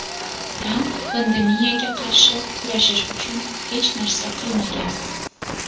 Tramp pandemiyaga qarshi kurashish uchun hech narsa qilmagan.